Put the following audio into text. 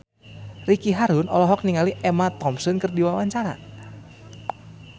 Ricky Harun olohok ningali Emma Thompson keur diwawancara